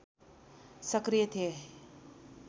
सक्रिय थिए